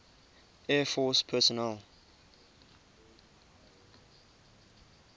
air force personnel